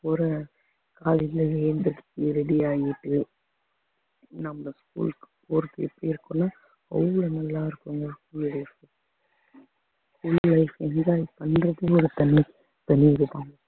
போற காலையில எழுந்திருச்சு ready ஆயிட்டு நம்ம school க்கு போறது எப்படி இருக்கும்ன்னா அவ்வளவு நல்லா இருக்கும் உங்களுக்கு